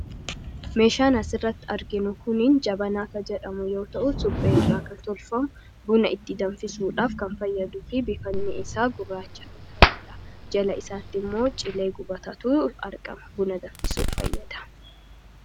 Meeshaan asirratti arginu kuni , jabanaa kan jedhamu yoo ta'u, supheerra kan tolfamu buna itti danfisuudhaaf kan fayyaduufi bifni isaa gurraacha kan ta'edha. Jala isaattimmoo cilee gubataatu argama. Buna danfisuuf fayyada.